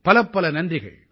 பலப்பல நன்றிகள்